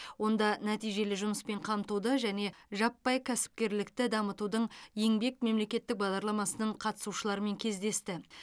онда нәтижелі жұмыспен қамтуды және жаппай кәсіпкерлікті дамытудың еңбек мемлекеттік бағдарламасының қатысушыларымен кездесті